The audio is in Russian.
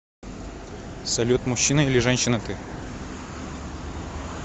салют мужчина или женщина ты